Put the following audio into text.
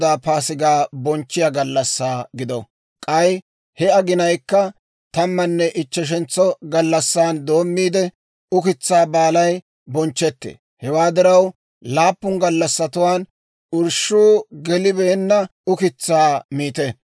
K'ay he aginankka tammanne ichcheshentso gallassan doommiide, Ukitsaa Baalay bonchchetee; hewaa diraw, laappun gallassatuwaan irshshuu gelibeenna ukitsaa miite.